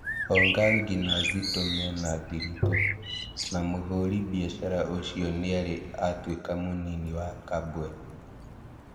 Ongangi na Zitto menathiritũ, na mũhũri biacara ũcio nĩarĩ atuĩka mũnini wa Kabwe